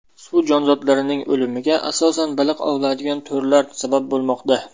Suv jonzotlarining o‘limiga asosan baliq ovlaydigan to‘rlar sabab bo‘lmoqda.